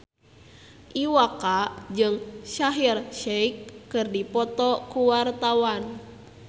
Iwa K jeung Shaheer Sheikh keur dipoto ku wartawan